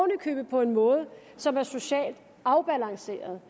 i købet på en måde som er socialt afbalanceret